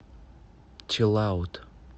чилаут